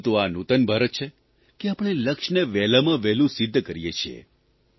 પરંતુ આ નૂતન ભારત છે કે આપણે લક્ષ્યને વહેલામાં વહેલું સિધ્ધ કરીએ છીએ